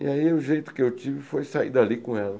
E aí o jeito que eu tive foi sair dali com ela.